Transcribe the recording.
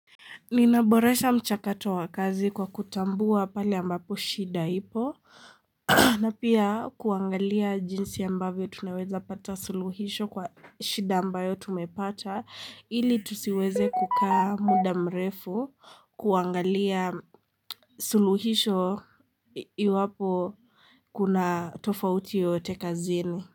Ninaboresha mchakato wa kazi kwa kutambua pale ambapo shida ipo na pia kuangalia jinsi ambavyo tunaweza pata suluhisho kwa shida ambayo tumepata ili tusiweze kukaa muda mrefu kuangalia suluhisho iwapo kuna tofauti yoyote kazini.